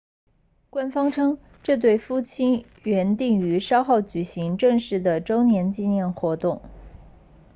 官方称这对夫妇原定于稍后举行正式的周年纪念活动